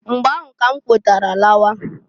Mgba ahụ k'm kwetara lawa.